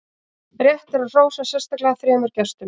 rétt er að hrósa sérstaklega þremur gestum